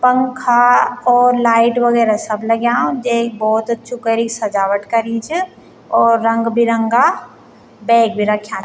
पंखा और लाइट वगैरा सब लग्यां जैक भौत अच्छु करीं क सजावट करीं च और रंग बिरंगा बैग भी रख्यां।